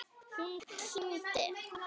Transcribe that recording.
Hún kímdi.